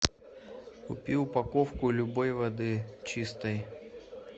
купи упаковку любой воды чистой